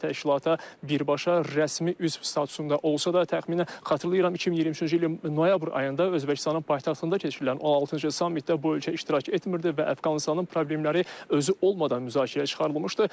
Bu ölkə təşkilata birbaşa rəsmi üzv statusunda olsa da təxminən xatırlayıram 2023-cü ilin noyabr ayında Özbəkistanın paytaxtında keçirilən 16-cı sammitdə bu ölkə iştirak etmirdi və Əfqanıstanın problemləri özü olmadan müzakirəyə çıxarılmışdı.